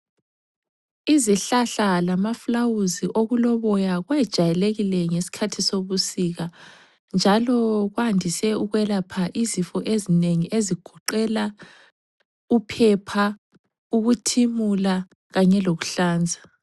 Izihlahla lamaflawuzi okuloboya kwejayelekile ngesikhathi sebusika njalo kwandise ukwelapha izifo ezinengi ezigoqela uphepha, ukuthimula kanye lokuhlanza.